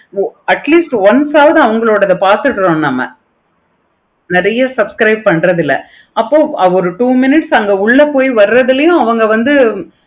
atleast one side அவங்களோடத பார்த்துட்டேன் நம்ம நெறைய subscribe பண்றது இல்ல. அப்போ ஒரு two mins அங்க உள்ள போய் வரத்துலையும் அவங்க வந்து